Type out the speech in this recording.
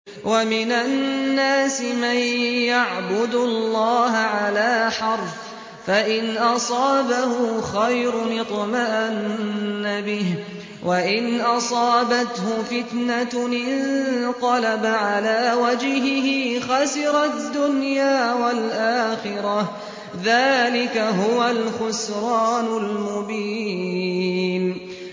وَمِنَ النَّاسِ مَن يَعْبُدُ اللَّهَ عَلَىٰ حَرْفٍ ۖ فَإِنْ أَصَابَهُ خَيْرٌ اطْمَأَنَّ بِهِ ۖ وَإِنْ أَصَابَتْهُ فِتْنَةٌ انقَلَبَ عَلَىٰ وَجْهِهِ خَسِرَ الدُّنْيَا وَالْآخِرَةَ ۚ ذَٰلِكَ هُوَ الْخُسْرَانُ الْمُبِينُ